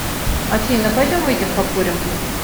афина пойдем выйдем покурим